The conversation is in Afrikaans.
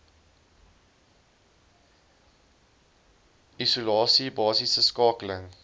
isolasie basiese skakeling